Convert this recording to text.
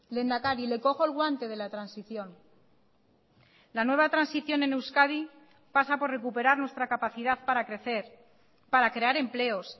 lehendakari le cojo el guante de la transición la nueva transición en euskadi pasa por recuperar nuestra capacidad para crecer para crear empleos